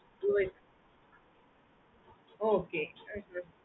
oh okay